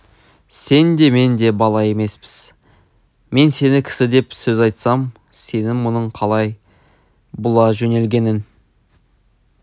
сен де мен де бала емеспіз мен сені кісі деп сөз айтсам сенің мұның қалай бұла жөнелгенің